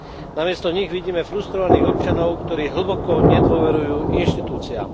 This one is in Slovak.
Namiesto nich vidíme frustrovaných občanov, ktorí hlboko nedôverujú inštitúciám.